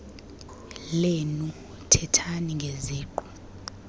lenu thethani ngeziqu